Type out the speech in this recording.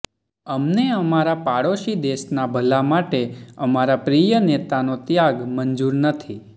અમને અમારા પાડોશી દેશના ભલા માટે અમારા પ્રિય નેતાનો ત્યાગ મંજૂર નથી